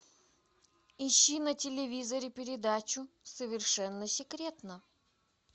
ищи на телевизоре передачу совершенно секретно